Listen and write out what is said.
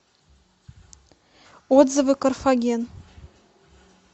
отзывы карфаген